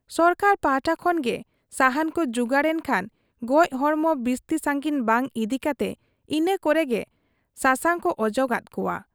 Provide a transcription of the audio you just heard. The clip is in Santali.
ᱥᱚᱨᱠᱟᱨ ᱯᱟᱦᱴᱟ ᱠᱷᱚᱱ ᱜᱮ ᱥᱟᱦᱟᱱ ᱠᱚ ᱡᱩᱜᱟᱹᱲ ᱮᱱ ᱠᱷᱟᱱ ᱜᱚᱡ ᱦᱚᱲᱢᱚ ᱵᱤᱥᱛᱤ ᱥᱟᱺᱜᱤᱧ ᱵᱟᱝ ᱤᱫᱤ ᱠᱟᱛᱮ ᱤᱱᱟᱹ ᱠᱚᱨᱮᱜᱮ ᱥᱟᱥᱟᱝᱠᱚ ᱚᱡᱚᱜᱟᱫ ᱠᱚᱣᱟ ᱾